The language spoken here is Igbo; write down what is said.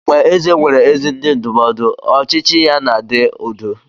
Mgbe eze nwere ezi ndị ndụmọdụ, ọchịchị ya na-adị udo.